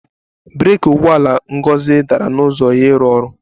Breeki ụgbọala Ngozi dara n'ụzọ ya ịrụ ọrụ